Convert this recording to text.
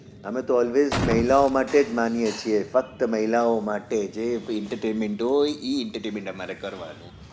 અમે તો always મહિલાઓ માટે જ માનીએ છીએ ફક્ત મહિલાઓ માટે જે ભી entertainment હોય entertainment તમારે કરવાનું